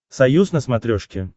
союз на смотрешке